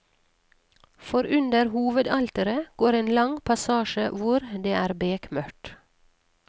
For under hovedalteret går en lang passasje hvor det er bekmørkt.